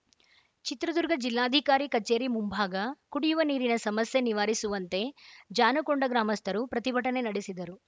ಚಿತ್ರದುರ್ಗ ಜಿಲ್ಲಾಧಿಕಾರಿ ಕಚೇರಿ ಮುಂಭಾಗ ಕುಡಿಯುವ ನೀರಿನ ಸಮಸ್ಯೆ ನಿವಾರಿಸುವಂತೆ ಜಾನುಕೊಂಡ ಗ್ರಾಮಸ್ಥರು ಪ್ರತಿಭಟನೆ ನಡೆಸಿದರು